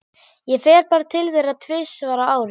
Ég fer bara til þeirra tvisvar á ári.